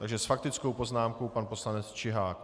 Takže s faktickou poznámkou pan poslanec Čihák.